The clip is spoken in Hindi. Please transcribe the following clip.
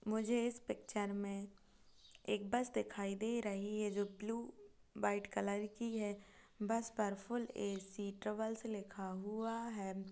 मुझे इस पिक्चर में एक बस दिखाई दे रही है जो ब्लू व्हाइट कलर की है बस पर फूल ऐ_सी ट्रेवल्स लिखा हुआ है।